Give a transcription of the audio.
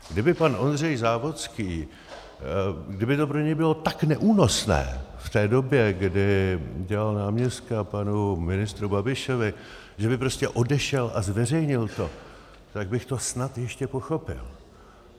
Kdyby pan Ondřej Závodský, kdyby to pro něj bylo tak neúnosné v té době, kdy dělal náměstka panu ministru Babišovi, že by prostě odešel a zveřejnil to, tak bych to snad ještě pochopil.